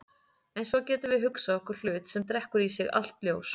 En svo getum við hugsað okkur hlut sem drekkur í sig allt ljós.